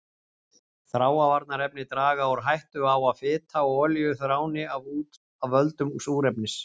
Þráavarnarefni draga úr hættu á að fita og olíur þráni af völdum súrefnis.